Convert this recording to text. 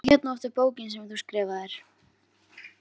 Hvað hét nú aftur bókin sem þú skrifaðir?